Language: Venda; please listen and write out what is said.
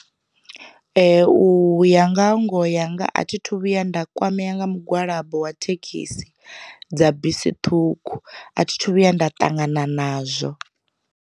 Uya nga ha ngoho yanga a thi thu vhuya nda kwamea nga mugwalabo wa thekhisi dza bisi ṱhukhu, a thi thu vhuya nda ṱangana nazwo.